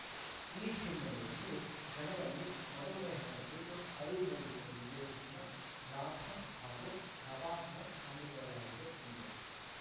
ಈ ಹಿನ್ನೆಲೆಯಲ್ಲಿ ಜನರಲ್ಲಿ ಮಧುಮೇಹದ ಕುರಿತು ಅರಿವು ಮೂಡಿಸುವ ಉದ್ದೇಶದಿಂದ ಜಾಥಾ ಹಾಗೂ ತಪಾಸಣೆ ಹಮ್ಮಿಕೊಳ್ಳಲಾಗಿದೆ ಎಂದರು